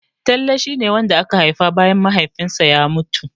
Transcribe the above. Talle shia ne wanda aka haifa bayan Mahaifinsa ya mutu.